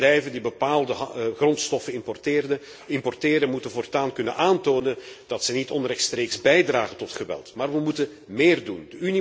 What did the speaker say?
Bedrijven die bepaalde grondstoffen importeren moeten voortaan kunnen aantonen dat ze niet onrechtstreeks bijdragen tot geweld. Maar we moeten meer doen.